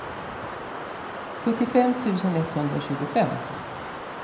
sjuttiofem tusen etthundratjugofem